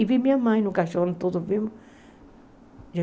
E vi minha mãe no caixão, todos vimos.